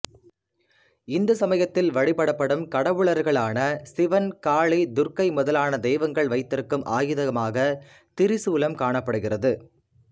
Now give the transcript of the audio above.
இந்து சமயத்தில் வழிபடப்படும் கடவுளர்களான சிவன் காளி துர்கை முதலான தெய்வங்கள் வைத்திருக்கும் ஆயுதமாகத் திரிசூலம் காணப்படுகின்றது